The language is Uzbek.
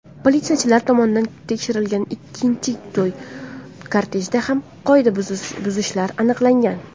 Politsiyachilar tomonidan tekshirilgan ikkinchi to‘y kortejida ham qoidabuzilishlar aniqlangan.